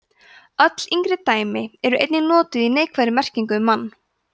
öll yngri dæmi eru einnig notuð í neikvæðri merkingu um mann